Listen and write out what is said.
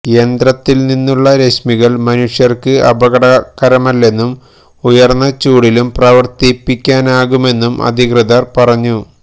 യന്ത്രത്തില്നിന്നുള്ള രശ്മികള് മനുഷ്യര്ക്ക് അപകടകരമല്ലെന്നും ഉയര്ന്ന ചൂടിലും പ്രവര്ത്തിപ്പിക്കാനാകുമെന്നും അധികൃതര് പറഞ്ഞു